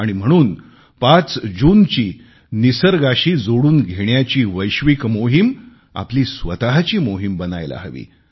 आणि म्हणून 5 जूनची निसर्गाशी जोडून घेण्याची वैश्विक मोहीम आपली स्वतची मोहीम बनायला हवी